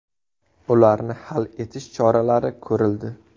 Ularni hal etish choralari ko‘rildi.